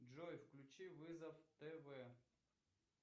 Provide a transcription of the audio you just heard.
джой включи вызов тв